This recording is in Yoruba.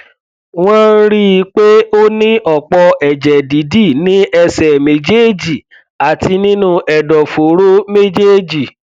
wọn rí i pé ó ní ọpọ ẹjẹ dídì ní ẹsẹ méjèèjì àti nínú ẹdọfóró méjèèjì